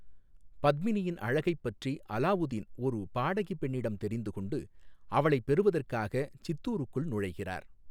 பத்மினியின் அழகைப் பற்றி அலாவுதீன் ஒரு பாடகி பெண்ணிடம் தெரிந்து கொண்டு, அவளை பெறுவதற்காக சித்தூருக்குள் நுழைகிறார்.